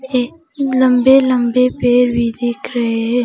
ये लंबे लंबे पेर भी दिख रहे है।